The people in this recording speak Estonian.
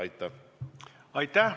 Aitäh!